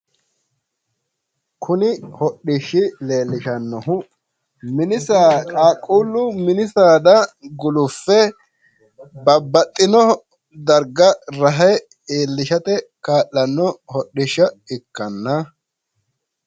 Kuni hodhishshi leellishannohu qaaquullu mini saada guluffe babbaxxino darga rahe iillishate kaa'lanno hodhishsha ikkanna .